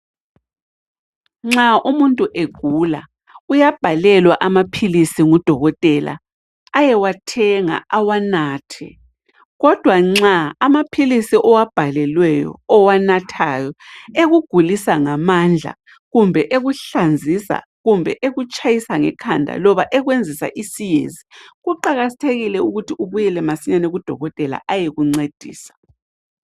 Nxa umuntu egula uyabhalelwa amaphilisi ngudokotela ayewathenga awanathe kodwa nxa amaphilisi owabhalelweyo ,owanathayo ekugulisa ngamandla ,kumbe ekuhlanzisa ,kumbe ekutshayisa ngekhanda loba ekwenzisa isiyezi kuqakathekile ukuthi ubuyele masinyane kudokotela ayekuncedisa.